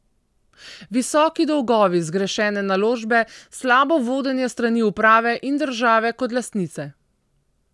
Visoki dolgovi, zgrešene naložbe, slabo vodenje s strani uprave in države kot lastnice.